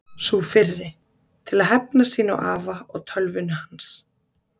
Sú fyrri: Til að hefna sín á afa og tölvunni hans.